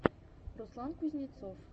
руслан кузнецов